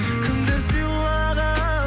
кімдер сыйлаған